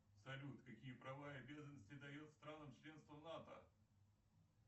салют какие права и обязанности дает странам членство в нато